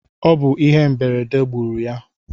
O bu ihe mberede gburu ya